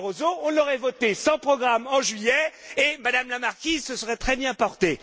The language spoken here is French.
Barroso, on aurait voté sans programme en juillet et madame la marquise se serait très bien portée!